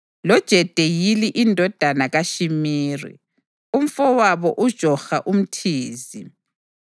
loJediyeli indodana kaShimiri, umfowabo uJoha umThizi,